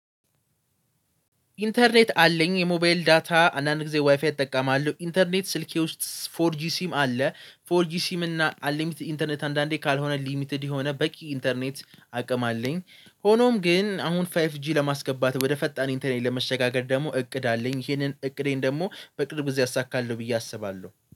ኢንተርኔት አለኝ የሞባይል ዳታ አንዳንድ ጊዜ ዋይፋይ እጠቀማለሁ ኢንተርኔት ስልኬ ውስጥ ፎር ጂ ሲም አለ ፎር ጂ ሲም እና አሊሚትድ ኢንተርኔት አንዳንዴ ካልሆነ ሊሚትድ የሆነ በቂ ኢንተርኔት አቅም አለኝ። ሆኖም ግን አሁን ፋይፍ ጂ ለማስገባት ወደ ፈጣን ኢንተርኔት ለመሸጋገር ደግሞ እቅድ አለኝ ይሄንን እቅዴን ደግሞ በቅርብ እዚህ አሳካለሁ ብዬ አስባለሁ